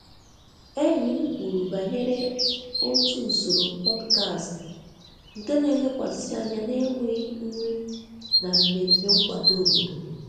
Enyi m kwuru banyere otu usoro podcast nke na-elekwasị anya na enweghị nri na mmemme nkwado obodo.